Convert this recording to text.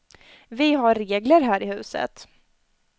Vi har regler här i huset.